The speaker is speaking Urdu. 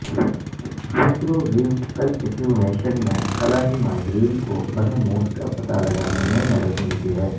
مائکروویو کلکسومیشن میں خلائی ماہرین کو برہموس کا پتہ لگانے میں مدد ملتی ہے